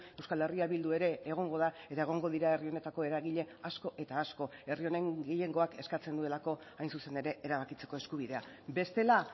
euskal herria bildu ere egongo da eta egongo dira herri honetako eragile asko eta asko herri honen gehiengoak eskatzen duelako hain zuzen ere erabakitzeko eskubidea bestela